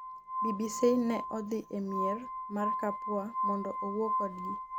BBC ne odhi e mier mar Kapua mondo owuo kodgi